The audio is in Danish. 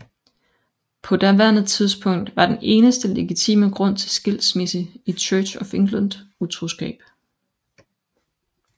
På daværende tidspunkt var den eneste legitime grund til skilsmisse i Church of England utroskab